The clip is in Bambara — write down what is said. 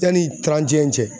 Yanni cɛ